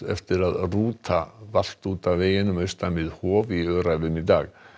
eftir að rúta valt út af veginum austan Hof í Öræfum í dag